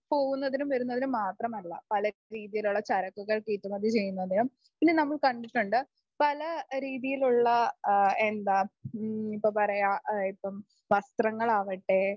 പോകുന്നതിനും വരുന്നതിനും മാത്രമല്ല പല രീതിയിലും ഉള്ള ചരക്കുകൾ കയറ്റുമതി ചെയ്യുന്നതിനും ഇന്ന് നമ്മൾ കണ്ടിട്ടുണ്ട് പല രീതിയിലുള്ള അ എന്താ എന്താ പറയാ ഇപ്പം വസ്ത്രങ്ങളാകട്ടെ